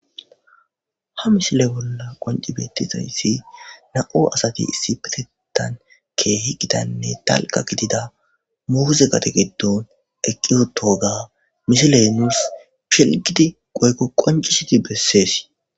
Ha misile bolla qonci beettizayssi na'o asati issipitan keehi gidanne talqa gidida muze gade giddon eqiyoto ga misilenus chilgidi goykko qoncishiti beses